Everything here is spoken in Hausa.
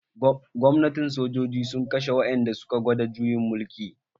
Gwamnatin sojoji sun kashe wa'ƴan da suka gwada juyin mulki.